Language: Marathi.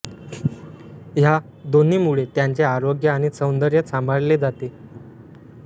ह्या दोन्हींमुळे त्यांचे आरोग्य आणि सौदर्य सांभाळले जाते